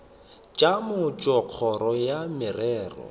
tša mmušo kgoro ya merero